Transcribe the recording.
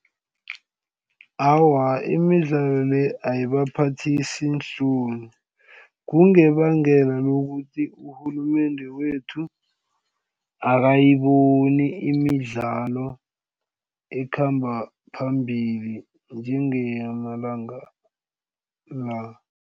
Awa, imidlalo le ayibaphathisi iinhloni kungebangela lokuthi urhulumende wethu akayiboni imidlalo ekhamba phambili njengeyama langa la.